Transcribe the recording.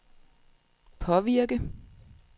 påvirke